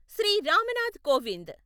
Shri Ram Nath Kovind